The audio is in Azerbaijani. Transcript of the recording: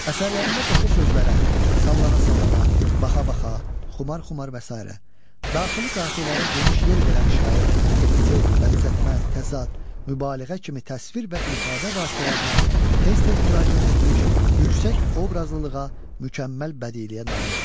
Əsərlərində qoşa sözlərə, sallana-sallana, baxa-baxa, xumar-xumar və sairə daxili qafiyələrə geniş yer verən şair epitet, bənzətmə, təzad, mübaliğə kimi təsvir və ifadə vasitələrinə tez-tez müraciət etmiş, yüksək obrazlılığa, mükəmməl bədiiyyəyə nail olmuşdur.